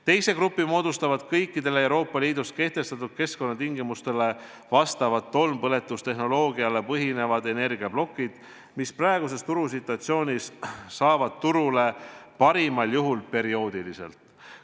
Teise grupi moodustavad kõikidele Euroopa Liidus kehtestatud keskkonnatingimustele vastavad tolmpõletustehnoloogial põhinevad energiaplokid, mille toodang saab praeguses turusituatsioonis turule parimal juhul perioodiliselt.